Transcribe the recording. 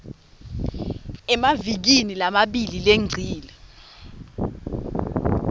emavikini lamabili lengcile